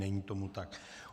Není tomu tak.